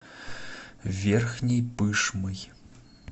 верхней пышмой